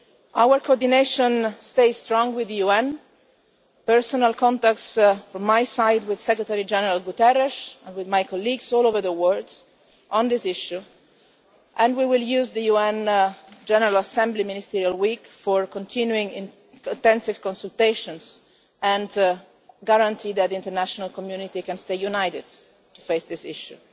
Our coordination stays strong with the UN, personal contacts from my side with Secretary General Guterres and with my colleagues all over the world on this issue, and we will use the UN General Assembly ministerial week for continuing intensive consultations and to guarantee that the international community can stay united in facing this issue.